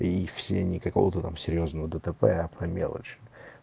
и их все никакого там серьёзного дтп а по мелочи